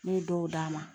N'o ye dɔw d'a ma